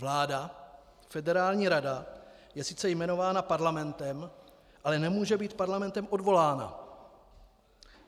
Vláda, Federální rada, je sice jmenována parlamentem, ale nemůže být parlamentem odvolána.